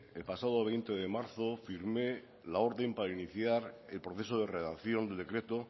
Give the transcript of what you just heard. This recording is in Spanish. el pasado veinte de marzo firmé la orden para iniciar el proceso de redacción del decreto